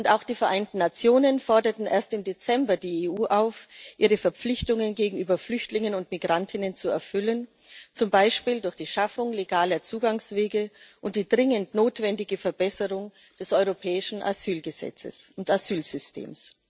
Auch die Vereinten Nationen forderten erst im Dezember die EU auf, ihre Verpflichtungen gegenüber Flüchtlingen und Migrantinnen und Migranten zu erfüllen, zum Beispiel durch die Schaffung legaler Zugangswege und die dringend notwendige Verbesserung des europäischen Asylgesetzes und Asylsystems.